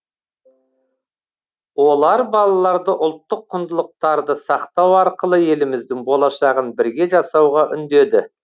олар балаларды ұлттық құндылықтарды сақтау арқылы еліміздің болашағын бірге жасауға үндеді